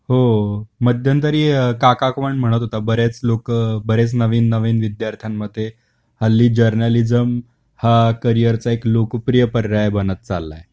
हो मध्यंतरी काका पण म्हणत होत बरेच लोक बरेच नवीन नवीन विद्यार्थ्यांन मध्ये हल्ली जर्नालिझम हा करिअर चा एक लोकप्रिय पर्याय बनत चालला आहे.